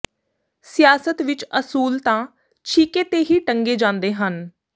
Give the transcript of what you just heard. ਸਿਆਸਤ ਵਿਚ ਅਸੂਲ ਤਾਂ ਛਿਕੇ ਤੇ ਹੀ ਟੰਗੇ ਜਾਂਦੇ ਹਨ